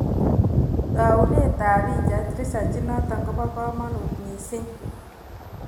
Taunet ab pichait reaserch inoto ko boo kamanutt mising